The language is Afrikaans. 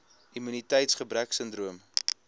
immuniteits gebrek sindroom